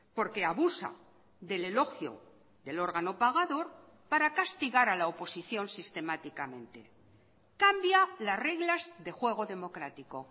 porque abusa del elogio del órgano pagador para castigar a la oposición sistemáticamente cambia las reglas de juego democrático